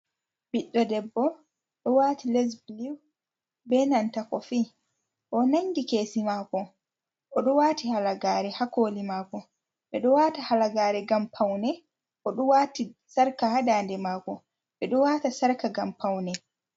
Ɓiɗɗo debbo ɗo waati les bulu beenanta kofi, o ɗo nanngi keesi maako. O ɗo waati halagaare ha kooli maako, ɓe ɗo waata halagaare ngam pawne. O ɗo waati sarƙa ha daande maako, ɓe ɗo waata sarƙa ngam pawne.